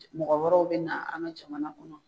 Mɔgɔ wɛrɛw be na an ka jamana kɔnɔ.